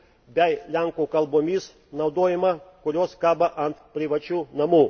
bei lenkų kalbomis naudojimą, kurios kabo ant privačių namų.